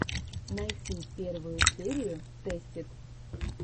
найти первую серию тэстид